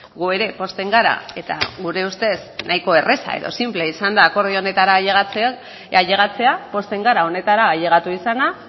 gu ere pozten gara eta gure ustez nahiko erreza edo sinplea izan da akordio honetara ailegatzea pozten gara honetara ailegatu izana